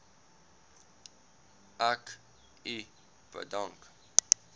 ek u bedank